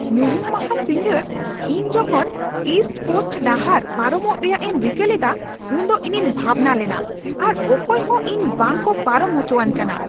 ᱧᱩᱦᱩᱢ ᱢᱟᱦᱟ ᱥᱤᱸᱜᱟᱹᱲ ᱤᱧ ᱡᱚᱠᱷᱚᱱ ᱤᱥᱴ ᱠᱳᱥᱴ ᱰᱟᱦᱟᱨ ᱯᱟᱨᱚᱢᱚᱜ ᱨᱮᱭᱟᱜ ᱤᱧ ᱨᱤᱠᱟᱹ ᱞᱮᱫᱟ ᱩᱱᱫᱚ ᱤᱧᱤᱧ ᱵᱷᱟᱵᱽᱱᱟ ᱞᱮᱱᱟ ᱟᱨ ᱚᱠᱚᱭ ᱦᱚᱸ ᱤᱧ ᱵᱟᱝᱠᱚ ᱯᱟᱨᱚᱢ ᱦᱚᱪᱚᱣᱟᱹᱧ ᱠᱟᱱᱟ ᱾